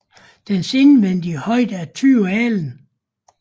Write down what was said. Dens indvendige højde er 20 alen